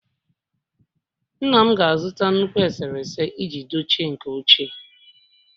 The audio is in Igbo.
Nna m ga-azụta nnukwu eserese iji dochie nke ochie